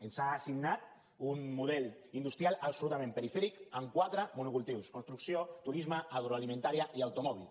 ens ha assignat un model industrial absolutament perifèric amb quatre monocultius construcció turisme agroalimentària i automòbil